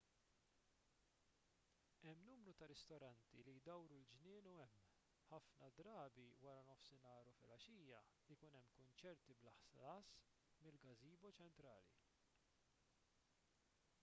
hemm numru ta' ristoranti li jdawru l-ġnien u hemm ħafna drabi wara nofsinhar u flgħaxija ikun hemm kunċerti bla ħlas mill-gazebo ċentrali